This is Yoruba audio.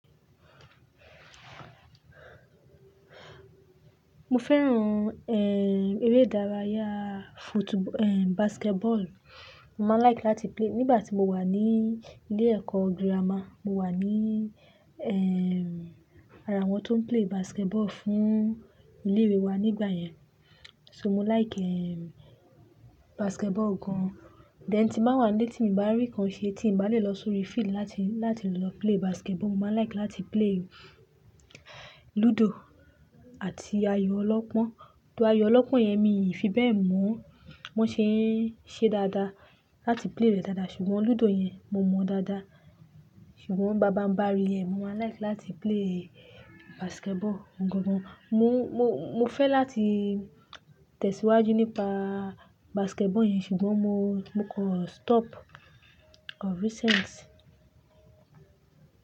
Mo fẹ́ràn, eh, eré ìdárayá football-- eh, basketball. Mo máa like láti play. Nígbà tí mo wà ní ilé ẹ̀kọ́ girama, mo wà ní, eh, ara àwọn tó ń play basketball fún ilé ìwé wa nígbà yẹn. So mo like, eh, basketball gan. Then tí nba wà nle ní tí mi bá rí nǹkan ṣe tí mo bá lè lọ sórí field láti, láti lọ play basketball. Mo máa like láti play ludo àti ayò ọlọ́pọ́n. Though ayò ọlọ́pọ́n yẹn mi ò fi bẹ́ẹ̀ mọ̀ ọ́n. Bon ṣe é ṣe dáadáa láti play rẹ̀ dáadáa ṣùgbọ́n ludo yẹn mo mọ̀ ọ́n dáadáa. Ṣùgbọ́n bábà ń bá rí ẹ, mo wa like láti play basketball gan gan. Mo, mo, mo fẹ́ láti tẹ̀síwájú nípa basketball yẹn ṣùgbọ́n mo, mo kọ stop of recent.